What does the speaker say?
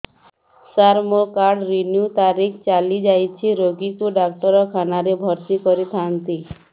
ସାର ମୋର card renew ତାରିଖ ଚାଲି ଯାଇଛି ରୋଗୀକୁ ଡାକ୍ତରଖାନା ରେ ଭର୍ତି କରିଥାନ୍ତି